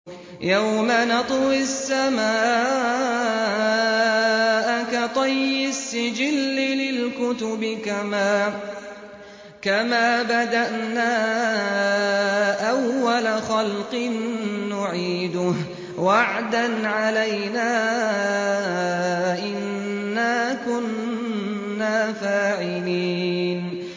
يَوْمَ نَطْوِي السَّمَاءَ كَطَيِّ السِّجِلِّ لِلْكُتُبِ ۚ كَمَا بَدَأْنَا أَوَّلَ خَلْقٍ نُّعِيدُهُ ۚ وَعْدًا عَلَيْنَا ۚ إِنَّا كُنَّا فَاعِلِينَ